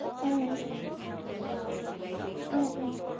আহ আহ আহ